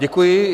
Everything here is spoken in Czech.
Děkuji.